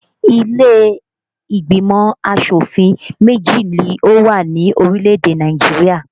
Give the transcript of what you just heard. Ilé ìgbìmọ̀ asòfin méjì ni ó wà ní orílè-èdè Nàìjirià